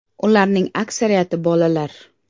Ularning aksariyati bolalar.